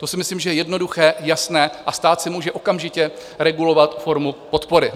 To si myslím, že je jednoduché, jasné a stát si může okamžitě regulovat formu podpory.